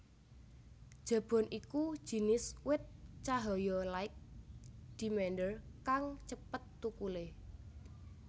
Jabon iku jinis wit cahaya light demander kang cepet thukulé